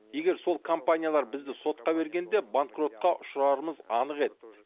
егер сол компаниялар бізді сотқа бергенде банкротқа ұшырарымыз анық еді